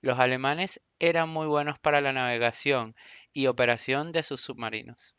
los alemanes eran muy buenos para la navegación y operación de sus submarinos